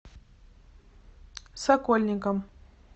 сокольникам